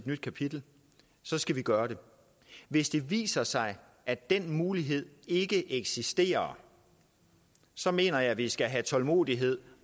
nyt kapitel så skal vi gøre det hvis det viser sig at den mulighed ikke eksisterer så mener jeg vi skal have tålmodighed